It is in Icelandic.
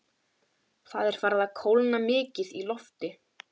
Það er farið að kólna mikið í lofti.